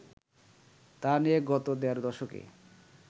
তা নিয়ে গত দেড় দশকে